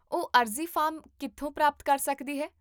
ਉਹ ਅਰਜ਼ੀ ਫਾਰਮ ਕਿੱਥੋਂ ਪ੍ਰਾਪਤ ਕਰ ਸਕਦੀ ਹੈ?